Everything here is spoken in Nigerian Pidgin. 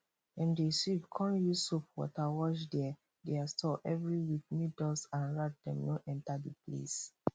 dem dey sweep con use soap water wash dere dere store every week make dust and rat dem no enter the place